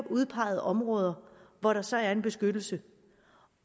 udpeget områder hvor der så er en beskyttelse